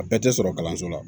A bɛɛ tɛ sɔrɔ kalanso la